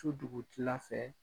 Su dugutila fɛ